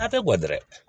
A tɛ gɔ dɛ